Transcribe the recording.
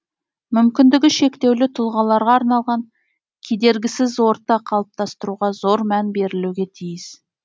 мүмкіндігі шектеулі тұлғаларға арналған кедергісіз орта қалыптастыруға зор мән берілуге тиіс